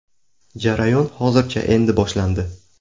Jarayon hozircha endi boshlandi.